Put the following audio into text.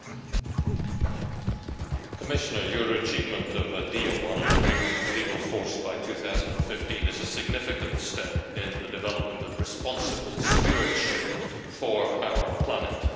Mr President, the Commissioner's achievement of a deal on an agreement with legal force by 2015 is a significant step in the development of responsible stewardship for our planet.